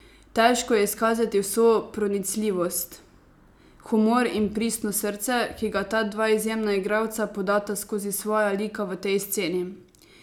Težko je izkazati vso pronicljivost, humor in pristno srce, ki ga ta dva izjemna igralca podata skozi svoja lika v tej sceni.